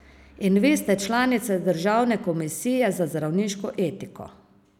In vi ste članica državne komisije za zdravniško etiko.